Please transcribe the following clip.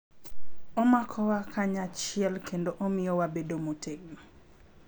Omakowa kanyachiel kendo omiyo wabedo motegno.